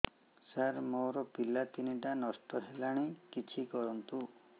ସାର ମୋର ପିଲା ତିନିଟା ନଷ୍ଟ ହେଲାଣି କିଛି କରନ୍ତୁ